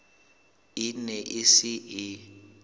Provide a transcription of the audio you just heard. e ne e se e